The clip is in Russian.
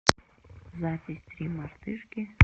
запись три мартышки